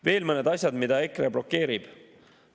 Veel mõned asjad, mida EKRE blokeerib.